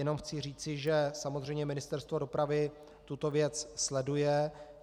Jenom chci říci, že samozřejmě Ministerstvo dopravy tuto věc sleduje.